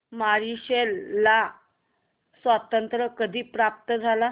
Mauritius ला स्वातंत्र्य कधी प्राप्त झाले